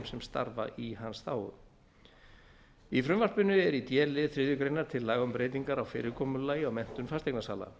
sem starfa í hans þágu í frumvarpinu er í d lið þriðju grein tillaga um breytingar á fyrirkomulagi á menntun fasteignasala